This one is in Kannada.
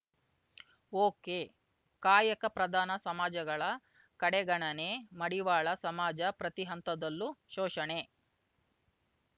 ಒಕೆಕಾಯಕ ಪ್ರಧಾನ ಸಮಾಜಗಳ ಕಡೆಗಣನೆ ಮಡಿವಾಳ ಸಮಾಜ ಪ್ರತಿ ಹಂತದಲ್ಲೂ ಶೋಷಣೆ